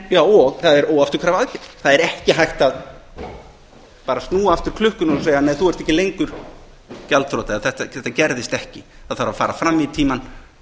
það er óafturkræf aðgerð það er ekki hægt að bara snúa aftur klukkunni og segja þú ert ekki lengur gjaldþrota eða þetta gerðist ekki það þarf að fara fram í tímann